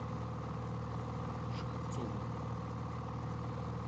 шеховцову